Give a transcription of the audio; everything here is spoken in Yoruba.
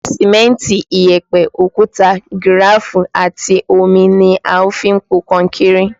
Sìmẹ́ntì, ìyẹ̀pẹ̀, òkúta gíráfù àti omi ni a fi ń po kankéré.